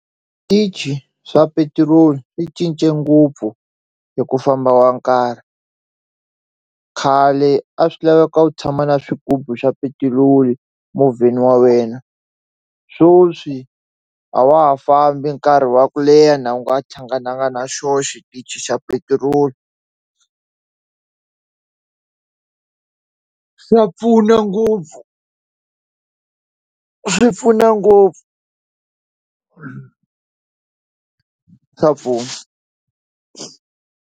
Switichi swa petirolo swi cince ngopfu hi ku famba wa nkarhi khale a swi laveka u tshama na swigubu swa petiroli movheni wa wena sweswi a wa ha fambi nkarhi wa ku leha na u nga hlangananga na xona xitichi xa petiroli swa pfuna ngopfu swi pfuna ngopfu swa pfuna.